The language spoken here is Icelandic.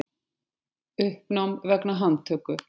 Uppnám vegna handtöku